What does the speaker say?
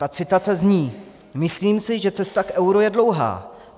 Ta citace zní: "Myslím si, že cesta k euru je dlouhá.